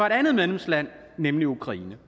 et andet medlemsland nemlig ukraine